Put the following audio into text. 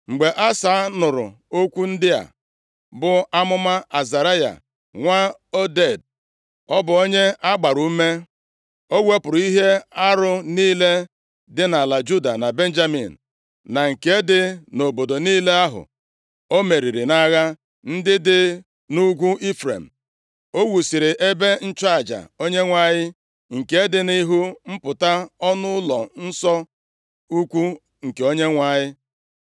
Mgbe Asa nụrụ okwu ndị a, bụ amụma Azaraya nwa Oded, ọ bụ onye a gbara ume. O wepụrụ ihe arụ niile dị nʼala Juda na Benjamin na nke dị nʼobodo niile ahụ o meriri nʼagha ndị dị nʼugwu Ifrem. Ọ wuziri ebe ịchụ aja Onyenwe anyị, nke dị nʼihu mpụta ọnụ ụlọ ụlọnsọ ukwu nke Onyenwe anyị.